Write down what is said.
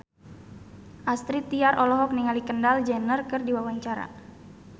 Astrid Tiar olohok ningali Kendall Jenner keur diwawancara